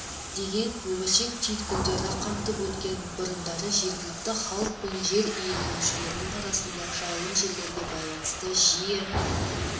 деген өміршең түйткілдері қамтып өткен бұрындары жергілікті халық пен жер иеленушінің арасында жайылым жерлерге байланысты жиі